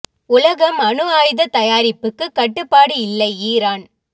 உலகம் அணு ஆயுத தயாரிப்புக்கு கட்டுப்பாடு இல்லை ஈரான்